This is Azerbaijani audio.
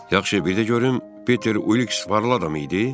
Yaxşı, bir də görüm Piter Uliks varlı adam idi?